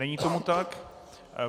Není tomu tak.